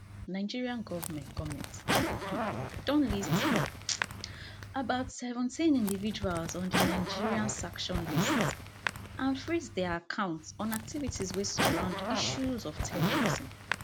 nigeria goment goment um don list um about seventeen individuals on di nigeria sanction list and freeze dia accounts on activities wey surround issues of terrorism